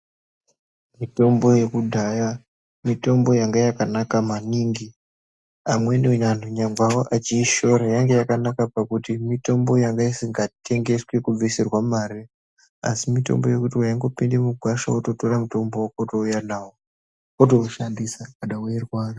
Mitombo yekudhaya mitombo yanga yakanaka maningi amweni andu nyangwe achiyishora yanga yakanaka pakuti mitombo yanga isingatengeswi kubvisirwa mari asi mitombo yekuti waingopinda mugwasha wototora mutombo wotouya nawo wotoushandisa kana weirwara.